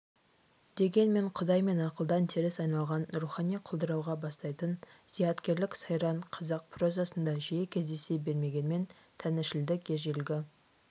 дегенмен құдай мен ақылдан теріс айналған рухани құлдырауға бастайтын зияткерлік сайран қазақ прозасында жиі кездесе бермегенмен тәңіршілдік ежелгі